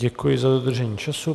Děkuji za dodržení času.